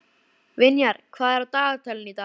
Vinjar, hvað er á dagatalinu í dag?